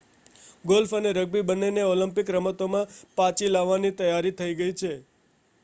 golf અને rugby બન્નેને Olympic રમતોમાં પાચી લાવવાની તૈયારી થઈ ગઈ છે